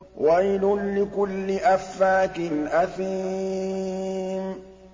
وَيْلٌ لِّكُلِّ أَفَّاكٍ أَثِيمٍ